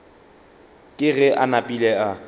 ke ge a napile a